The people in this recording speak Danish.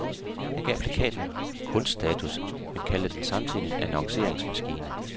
Han gav plakaten kunststatus, men kaldte den samtidig en annonceringsmaskine.